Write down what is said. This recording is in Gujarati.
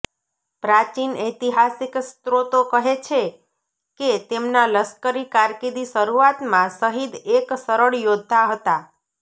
પ્રાચીન ઐતિહાસિક સ્ત્રોતો કહે છે કે તેમના લશ્કરી કારકિર્દી શરૂઆતમાં શહીદ એક સરળ યોદ્ધા હતા